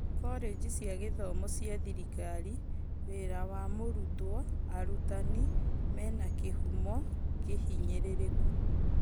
Korĩgi cia gĩthomo cia thirikari; wĩra wa mũrutwo, arutani menakĩhumo kũhinyĩrĩrĩku